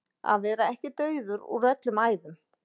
Að vera ekki dauður úr öllum æðum